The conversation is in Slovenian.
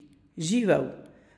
Živel!